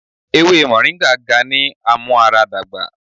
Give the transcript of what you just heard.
Ewe Moringa ga ni amuaradagba